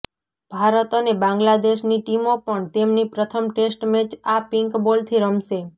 ભારત અને બાંગ્લાદેશની ટીમો પણ તેમની પ્રથમ ટેસ્ટ મેચ આ પિન્ક બોલથી રમશે